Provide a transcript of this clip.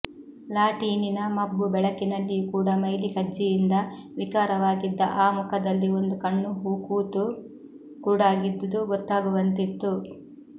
ಲಾಟೀನಿನ ಮಬ್ಬು ಬೆಳಕಿನಲ್ಲಿಯೂ ಕೂಡ ಮೈಲಿ ಕಜ್ಜಿಯಿಂದ ವಿಕಾರವಾಗಿದ್ದ ಆ ಮುಖದಲ್ಲಿ ಒಂದು ಕಣ್ಣು ಹೂಕೂತು ಕುರುಡಾಗಿದ್ದುದು ಗೊತ್ತಾಗುವಂತಿತ್ತು